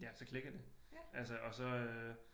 Ja så klikkede det altså og så øh